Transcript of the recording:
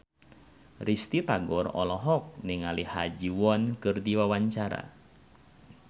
Risty Tagor olohok ningali Ha Ji Won keur diwawancara